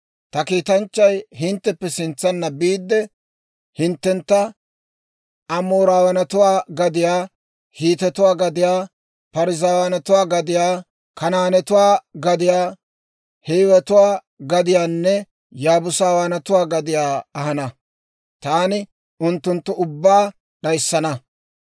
Ta kiitanchchay hintteppe sintsanna biide, hinttentta Amooraawaanatuwaa gadiyaa, Hiitetuwaa gadiyaa, Parzzaawaanatuwaa gadiyaa, Kanaanetuwaa gadiyaa, Hiiwetuwaa gadiyaanne Yaabuusawaanatuwaa gadiyaa ahana. Taani unttunttu ubbaa d'ayssana.